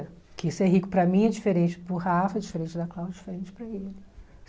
Porque ser rico para mim é diferente para o Rafa, diferente para a Cláudia, diferente para ele.